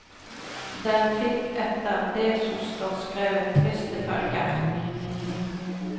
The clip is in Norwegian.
Den fikk etter det som står skrevet triste følger.